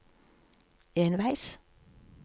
enveis